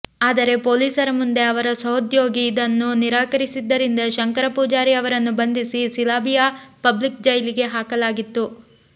ಆದರೆ ಪೊಲೀಸರ ಮುಂದೆ ಅವರ ಸಹೋದ್ಯೋಗಿ ಇದನ್ನು ನಿರಾಕರಿಸಿದ್ದರಿಂದ ಶಂಕರ ಪೂಜಾರಿ ಅವರನ್ನು ಬಂಧಿಸಿ ಸಿಲಾಬಿಯಾ ಪಬ್ಲಿಕ್ ಜೈಲಿಗೆ ಹಾಕಲಾಗಿತ್ತು